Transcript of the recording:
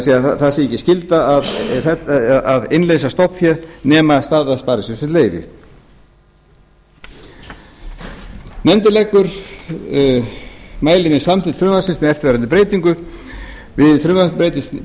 er það sé ekki skylda að innleysa stofnfé nema staða sparisjóðsins leyfi nefndin mælir með samþykkt frumvarpsins með eftirfarandi breytingu við frumvarpið